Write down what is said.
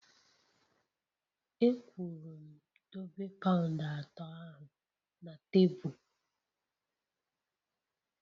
E kwuru m dobe paund atọ ahụ na tebụl!